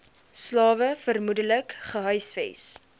slawe vermoedelik gehuisves